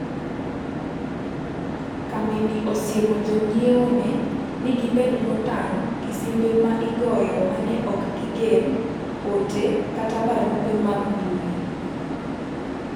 Kambini osiemo jonyiewone ni gibed motang' gi simbe ma igoyo ma ne ok gigen, ote, kata barupe mag mbuyi.